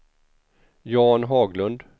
Jan Haglund